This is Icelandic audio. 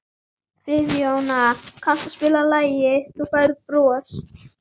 Friðjóna, kanntu að spila lagið „Þú Færð Bros“?